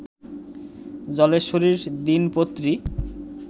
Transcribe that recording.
জলেশ্বরীর দিনপত্রী